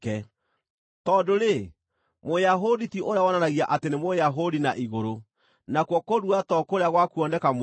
Tondũ-rĩ, Mũyahudi ti ũrĩa wonanagia atĩ nĩ Mũyahudi na igũrũ, nakuo kũrua to kũrĩa gwa kuoneka mwĩrĩ-inĩ.